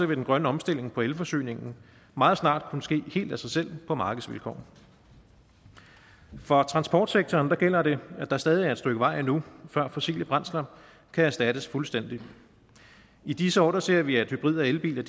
vil den grønne omstilling på elforsyningen meget snart kunne ske helt af sig selv på markedsvilkår for transportsektoren gælder det at der stadig er et stykke vej endnu før fossile brændsler kan erstattes fuldstændigt i disse år ser vi at hybrid og elbiler